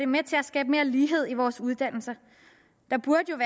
med til at skabe mere lighed i vores uddannelser der burde jo